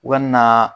U ka na